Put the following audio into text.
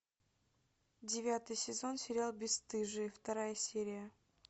девятый сезон сериал бесстыжие вторая серия